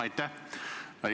Aitäh!